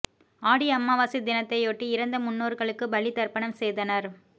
ஆடி அமாவாசை தினத்தை யொட்டி இறந்த முன்னோர்களுக்கு பலி தர்ப்பணம் செய்தனர்